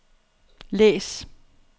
læs